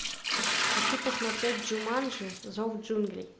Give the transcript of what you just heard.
хочу посмотреть джуманджи зов джунглей